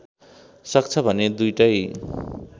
सक्छ भने दुईटै